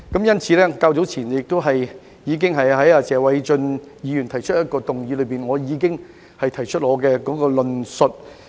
因此，較早前在謝偉俊議員提出一項質詢時，我已經表達我的論述。